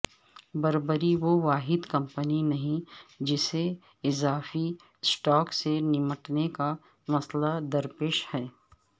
Burberry وہ واحد کمپنی نہیں جسے اضافی سٹاک سے نمٹنے کا مسئلہ درپیش ہے